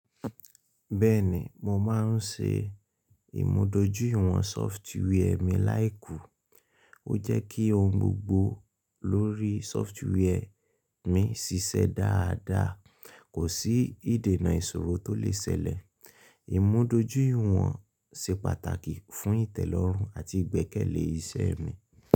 Bẹ́ẹ̀ni, mo máa ń ṣe ìmúdójúìwọ̀n software mi láìkú. Ó jẹ́ kí ohun gbogbo lórí sọfituweẹ mi ṣiṣẹ́ dáadáa, kò sí ìdènà ìṣòro tó lè ṣẹlẹ̀. Ìmúdójúìwọ̀n ṣe pàtàkì fún ìtẹ́lọ́rùn àti ìgbẹ́kẹ̀lé iṣẹ́ mi.